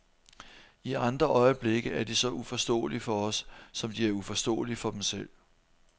I andre øjeblikke er de så uforståelige for os, som de er uforståelige for dem selv.